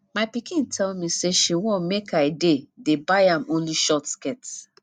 my pikin tell me say she wan make i dey dey buy am only short skirt